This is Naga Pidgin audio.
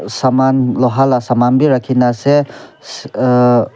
saman loha la saman bi rakhina ase se uh.